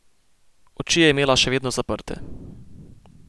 Oči je imela še vedno zaprte.